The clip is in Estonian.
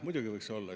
Muidugi võiks olla.